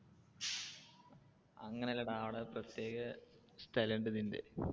അങ്ങനെ അല്ലടാ അവിടെ പ്രത്യേക സ്ഥലം ഉണ്ട് ഇതിന്റെ.